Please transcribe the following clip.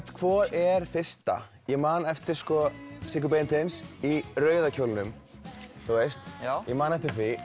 hvor er fyrsta ég man eftir Siggu Beinteins í rauða kjólnum þú veist ég man eftir því